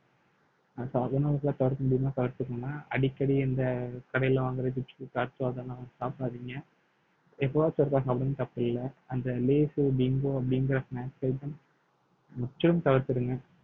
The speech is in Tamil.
சாதாரண தடுக்க முடியுமா தடுத்துக்கோங்க அடிக்கடி இந்த கடையில வாங்குற அதெல்லாம் சாப்பிடாதீங்க எப்பவாச்சும் ஒருக்கா சாப்பிடுங்க தப்பு இல்லை அந்த lays சு bingo அப்படிங்கற snacks item முற்றிலும் தவிர்த்திடுங்க